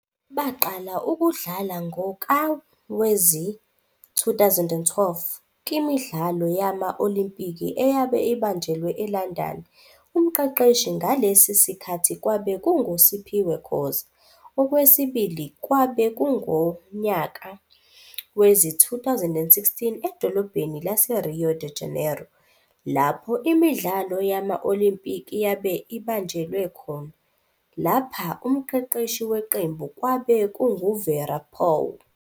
Baqala ukudlala ngonka wezi-2012 kimidlalo yama-Olimpiki eyabe ibanjelwe eLandani, umqeqeshi ngalesi sikhathi kwabe kunguSiphiwe Khoza. Okwesibili kwabe kungunyaka wezi-2016 edolobheni laseRio Da Janeiro lapho imidlalo yama-Olimpiki yabe ibajelwe khona, lapha umqeqeshi waqembu kwabe kunguVera Pauw.